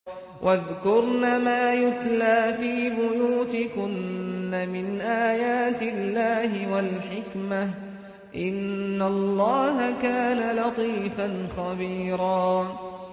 وَاذْكُرْنَ مَا يُتْلَىٰ فِي بُيُوتِكُنَّ مِنْ آيَاتِ اللَّهِ وَالْحِكْمَةِ ۚ إِنَّ اللَّهَ كَانَ لَطِيفًا خَبِيرًا